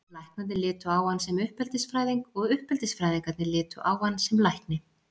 Læknarnir litu á hann sem uppeldisfræðing og uppeldisfræðingarnir litu á hann sem lækni.